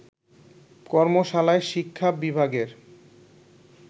কর্মশালায় শিক্ষা বিভাগের